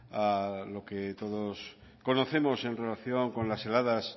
a lo que todos conocemos en relación con las heladas